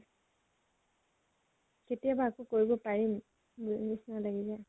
কেতিয়াবা আকৌ কৰিব পাৰিম নিছিনা লাগি যায়।